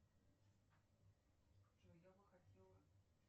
джой я бы хотела